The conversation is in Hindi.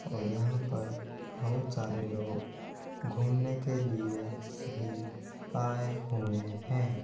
और यहाँ पर बहुत सारे लोग घूमने के लिए भी आए हुए हैं।